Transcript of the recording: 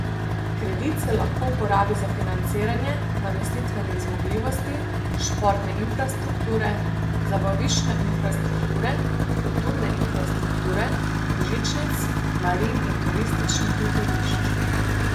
Kredit se lahko porabi za financiranje namestitvenih zmogljivosti, športne infrastrukture, zabaviščne infrastrukture, kulturne infrastrukture, žičnic, marin in turističnih letovišč.